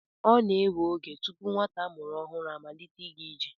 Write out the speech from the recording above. Ọ na-ewe oge tupu nwata a mụrụ ọhụrụ amalite ịga ije.